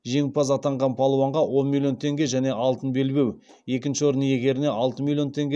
жеңімпаз атанған балуанға он миллион теңге және алтын белбеу екінші орын иегеріне алты миллион теңге